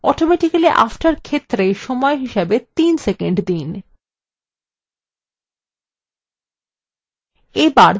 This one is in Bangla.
automatically after ক্ষেত্রে সময় হিসাবে ৩ সেকন্ড দিন